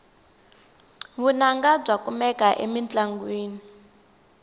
vunanga bya kumeka emintlongwini